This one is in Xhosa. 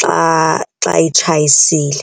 xa, xa itshayisile.